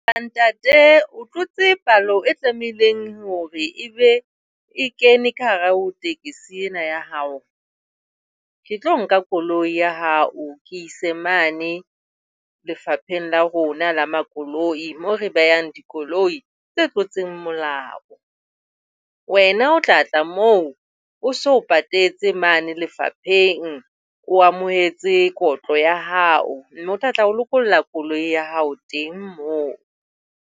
Ntate, o tlotse palo e tlamehileng hore ebe e kene ka hare ho tekesi ena ya hao. Ke tlo nka koloi ya hao ke ise mane lefapheng la rona la makoloi, moo re behang dikoloi tse tlotseng molao. Wena o tla tla moo o so patetse mane lefapheng. O amohetse kotlo ya hao, mme o tla tla o lokolla koloi ya hao teng moo.